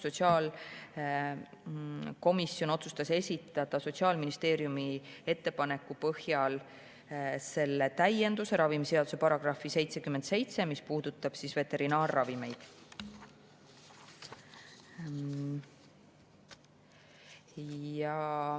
Sotsiaalkomisjon otsustas esitada Sotsiaalministeeriumi ettepaneku põhjal ettepaneku täiendada ravimiseaduse § 77, see puudutab veterinaarravimeid.